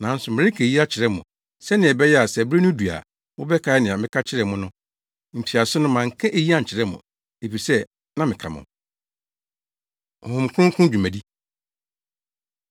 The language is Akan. Nanso mereka eyi akyerɛ mo, sɛnea ɛbɛyɛ a sɛ bere no du a, mobɛkae nea meka kyerɛɛ mo no. Mfiase no manka eyi ankyerɛ mo, efisɛ na meka mo ho.” Honhom Kronkron Dwumadi